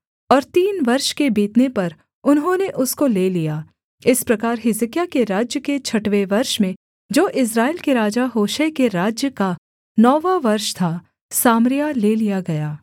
और तीन वर्ष के बीतने पर उन्होंने उसको ले लिया इस प्रकार हिजकिय्याह के राज्य के छठवें वर्ष में जो इस्राएल के राजा होशे के राज्य का नौवाँ वर्ष था सामरिया ले लिया गया